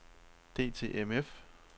DTMF